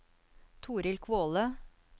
Torill Kvåle